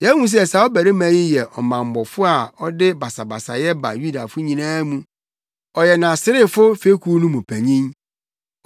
“Yɛahu sɛ saa ɔbarima yi yɛ ɔmammɔfo a ɔde basabasayɛ ba Yudafo nyinaa mu. Ɔyɛ Nasarefo fekuw no mu panyin.